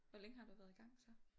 Hvor længe har du været i gang så?